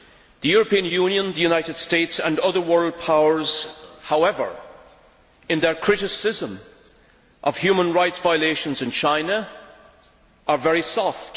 The European Union, the United States and other world powers, however, in their criticism of human rights violations in China, are very soft.